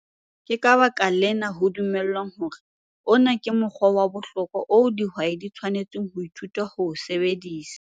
Ke ka baka lena ho dumelwang hore ona ke mokgwa wa bohlokwa oo dihwai di tshwanetseng ho ithuta ho o sebedisa.